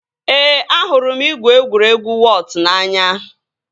Ee, ahụrụ m igwu egwuregwu wọọt n'anya